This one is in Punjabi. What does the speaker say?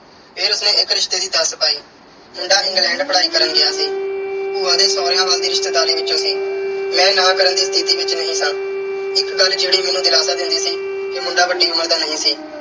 ਫਿਰ ਉਸ ਨੇ ਇੱਕ ਰਿਸ਼ਤੇ ਦੀ ਦੱਸ ਪਾਈ ਮੁੰਡਾ England ਪੜ੍ਹਾਈ ਕਰਨ ਗਿਆ ਸੀ। ਭੂਆ ਦੇ ਸਹੁਰਿਆਂ ਵੱਲ ਦੀ ਰਿਸ਼ਤੇਦਾਰੀ ਵਿੱਚੋਂ ਸੀ। ਮੈਂ ਨਾਂਹ ਕਰਨ ਦੀ ਸਥਿਤੀ ਵਿੱਚ ਨਹੀਂ ਸਾਂ। ਇੱਕ ਗੱਲ ਜਿਹੜੀ ਮੈਨੂੰ ਦਿਲਾਸਾ ਦਿੰਦੀ ਸੀ ਕਿ ਮੁੰਡਾ ਵੱਡੀ ਉਮਰ ਦਾ ਨਹੀਂ ਸੀ।